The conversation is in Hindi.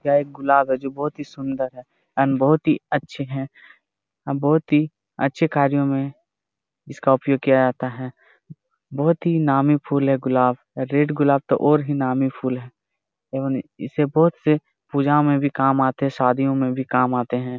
यह एक गुलाब है जो बहुत ही सुंदर है एंड बहुत ही अच्छे है हम बहुत ही अच्छे कार्यों में इसका उपयोग किया जाता है बहुत ही नामी ही फूल है गुलाब रेड गुलाब तो और नामी ही फुल हैं इसे बहुत से पूजा में भी काम आते शादियों में भी काम आते हैं।